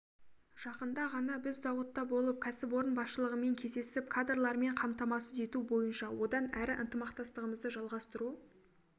жақында ғана біз зауытта болып кәсіпорын басшылығымен кездесіп кадрлармен қамтамасыз ету бойынша одан әрі ынтымақтастығымызды жалғастыру